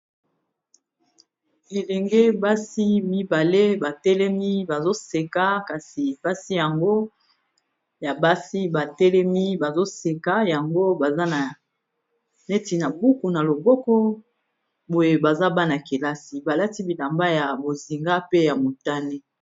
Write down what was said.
elenge basi mibale batelemi bazoseka kasi basi yango ya basi batelemi bazoseka yango baza na neti na buku na loboko boye baza bana-kelasi balati bilamba ya bozinga pe ya motane